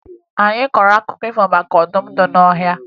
Anyị kọrọ akụkọ maka ọdụm nọ n'ọhịa